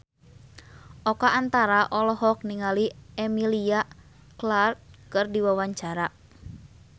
Oka Antara olohok ningali Emilia Clarke keur diwawancara